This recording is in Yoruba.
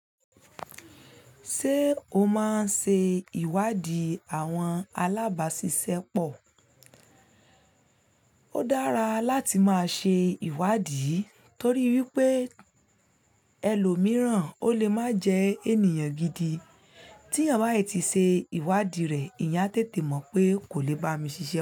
Ṣé o máa ń ṣe ìwádìí àwọn alábàáṣiṣẹ́ pọ̀? Ó dára láti máa ṣe ìwádìí torí wípé ẹlòmíràn ó lè máa jẹ ènìyàn gidi. Tí eeyàn bá ti ṣe ìwádìí rẹ̀, ìyá ń tètè mọ̀ pé kò lè bá mi ṣiṣẹ́.